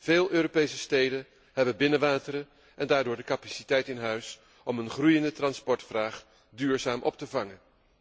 Veel Europese steden hebben binnenwateren en daardoor de capaciteit in huis om een groeiende vraag naar transport duurzaam op te vangen.